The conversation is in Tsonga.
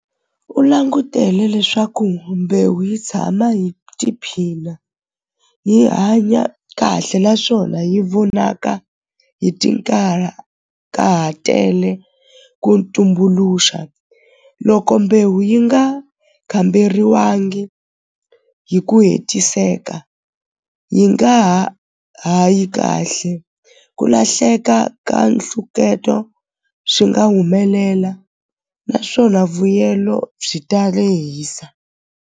U langutele leswaku mbewu yi tshama hi tiphina hi hanya kahle naswona yi vonaka hi ka ha tele ku tumbuluxa loko mbewu yi nga kamberiwangi hi ku hetiseka yi nga ha ha yi kahle ku lahleka ka nhluketo swi nga humelela naswona vuyelo byi ta lehisa.